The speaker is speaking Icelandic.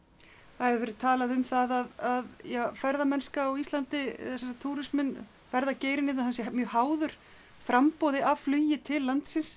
það hefur verið talað um það að ja ferðamennska á Íslandi eða ferðageirinn hérna hann sé mjög háður framboði á flugi til landsins